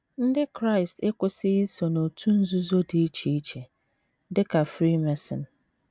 Ndị Kraịst ekwesịghị iso n’òtù nzuzo dị iche iche, dị ka Freemason.